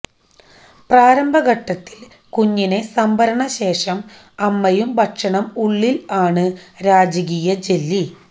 പ്രാരംഭ ഘട്ടത്തിൽ കുഞ്ഞിനെ സംഭരണം ശേഷം അമ്മയും ഭക്ഷണം ഉള്ളിൽ ആണ് രാജകീയ ജെല്ലി